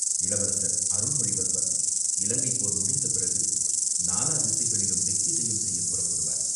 இளவரசர் அருள்மொழிவர்மர் இலங்கைப்போர் முடிந்த பிறகு நாலா திசைகளிலும் திக்விஜயம் செய்யப் புறப்படுவார்.